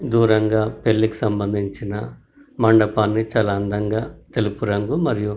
దూరంగా పెళ్ళికి సంబంధించిన మండపాన్ని చాలా అందంగా తెలుపు రంగు మరియు --